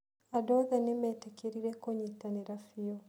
Andũ othe nĩ meetĩkĩrire kũnyitanĩra biũ.